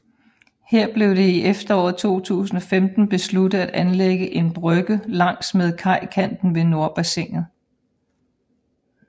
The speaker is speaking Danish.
Her blev det i efteråret 2015 besluttet at anlægge en brygge langs med kajkanten ved Nordbassinet